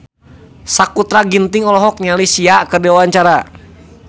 Sakutra Ginting olohok ningali Sia keur diwawancara